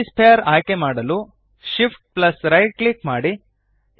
UV sphere ಆಯ್ಕೆಮಾಡಲು Shift plus right click ಮಾಡಿ